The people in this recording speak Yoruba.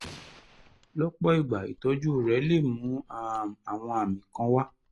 lọ́pọ̀ ìgbà ìtọ́jú rẹ̀ lè mú um àwọn àmì kan wá